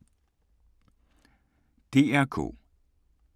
DR K